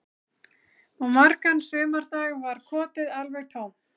Og margan sumardag var kotið alveg tómt